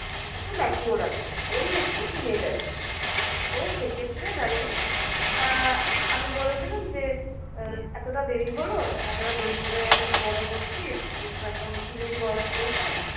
একটু mature আছে। ওই একটু teenage আছে। তো সেক্ষেত্রে দাঁড়িয়ে আহ আমি বলেছিলাম যে, আহ এতটা দেরি হলো এতটা দেরি করে তুই তো বড় হচ্ছিস। তোর তো এখন teenage বয়স চলছে।